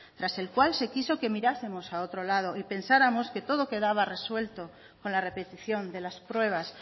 tras el cual se quiso que mirásemos a otro lado y pensáramos que todo quedaba resuelto con la repetición de las pruebas